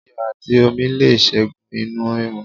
Iyò àti omi le ségun inú rírun